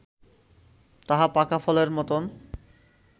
তাহা পাকা ফলের মতন